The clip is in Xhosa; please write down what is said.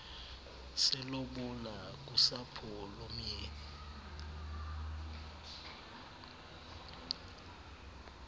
selobola kusapho lomyeni